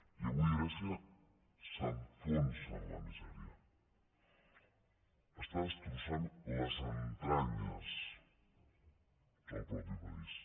i avui grècia s’enfonsa en la misèria està destrossant les entranyes del mateix país